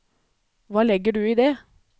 Hva legger du i det?